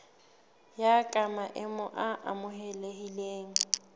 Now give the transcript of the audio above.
ya ka maemo a amohelehileng